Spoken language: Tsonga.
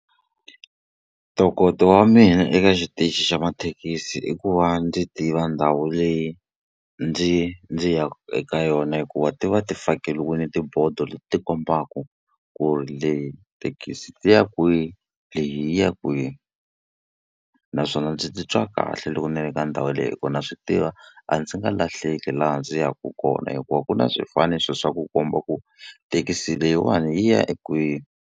Ntokoto wa mina eka xitichi xa mathekisi i ku va ndzi tiva ndhawu leyi ndzi ndzi ya eka yona, hikuva ti va ti fakeriwile tibodo leti ti kombaka ku ri le thekisi ti ya kwihi leyi ya kwihi. Naswona ndzi titwa kahle loko ni ri ka ndhawu yeleyo hikuva na swi tiva a ndzi nga lahleki laha ndzi yaka kona hikuva ku na swifaniso swa ku komba ku thekisi leyiwani yi ya kwihi.